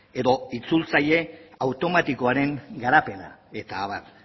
edo itzultzaile automatikoaren garapena eta abar